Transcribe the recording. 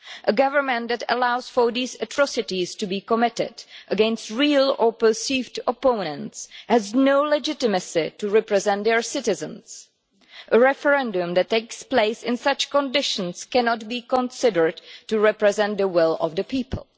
A government that allows these atrocities to be committed, against real or perceived opponents, has no legitimacy to represent the citizens. A referendum that takes place in such conditions cannot be considered to represent the will of the people.